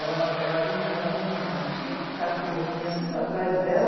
Ela, ela vinha, ela tinha uma, uns cinco cachorros, vinha tudo atrás dela.